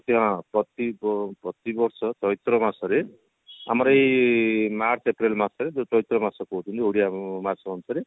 ହଁ ପ୍ରତି ବ ପ୍ରତିବର୍ଷ ଚୈତ୍ର ମାସରେ ଆମର ଏଇ march April ମାସରେ ଯୋଉ ଚୈତ୍ର ମାସ କହୁଛନ୍ତି ଓଡିଆ ମାସ ଅନୁସାରେ